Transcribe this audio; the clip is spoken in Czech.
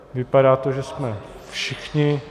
Vypadá to, že jsme všichni.